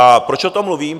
A proč o tom mluvím?